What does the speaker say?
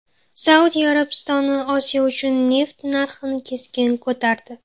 Saudiya Arabistoni Osiyo uchun neft narxini keskin ko‘tardi .